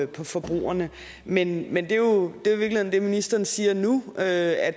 på forbrugerne men men det ministeren siger nu er at